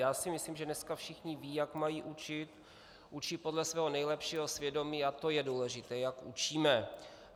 Já si myslím, že dneska všichni vědí, jak mají učit, učí podle svého nejlepšího svědomí a to je důležité, jak učíme.